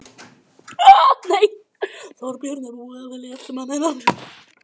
Þorbjörn: Er búið að velja eftirmann hennar?